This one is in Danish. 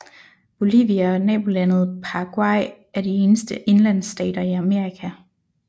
Bolivia og nabolandet Paraguay er de eneste indlandsstater i Amerika